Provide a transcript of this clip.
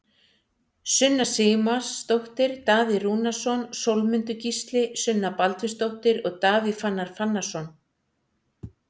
Sunna Sigmarsdóttir, Daði Rúnarsson, Sólmundur Gísli, Sunna Baldvinsdóttir og Davíð Fannar Fannarsson